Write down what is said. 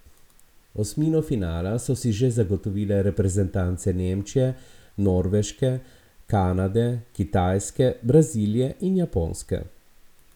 Osmino finala so si že zagotovile reprezentance Nemčije, Norveške, Kanade, Kitajske, Brazilije in Japonske.